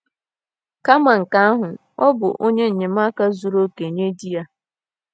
Kama nke ahụ, ọ bụ onye enyemaka zuru oke nye di ya.